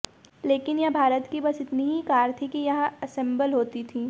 लेकिन यह भारत की बस इतनी ही कार थी कि यहां असेम्बल होती थी